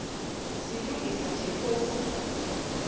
silungisa nje phofu